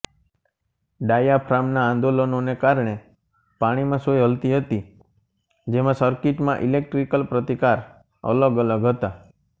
ડાયાફ્રામના આંદોલનોને કારણે પાણીમાં સોય હલતી હતી જેમાં સરકીટમાં ઇલેક્ટ્રીકલ પ્રતિકાર અલગ અલગ હતા